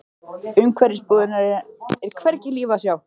Umhverfis búðirnar er hvergi líf að sjá.